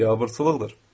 Biabırçılıqdır.